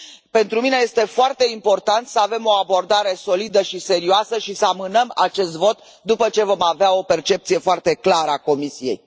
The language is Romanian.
Pentru mine este foarte important să avem o abordare solidă și serioasă și să amânăm acest vot, după ce vom avea o percepție foarte clară a Comisiei.